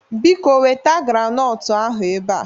Biko weta granọtụ ahụ ebe a!